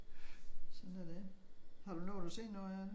Sådan er det. Har du nået at se noget af det?